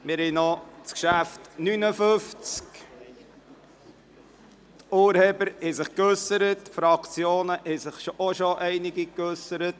Die Urheber haben sich bereits geäussert, ebenso einige Fraktionen.